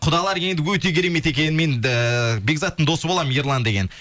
құдалар енді өте керемет екен мен бекзаттың досы боламын ерлан деген